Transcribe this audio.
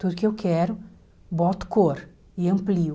Tudo que eu quero, boto cor e amplio.